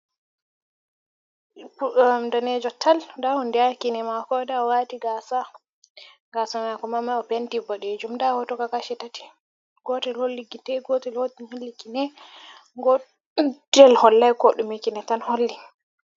Deɓbo danejo tal nda hunde kine mako nda o'wati gasa, gasa mako man ma o penti boɗe jum nda hoto kam kashi tati, gotel holli gite gotel holli kine godel hollai koɗume kine tan holli.